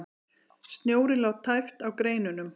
Snjórinn lá tæpt á greinunum.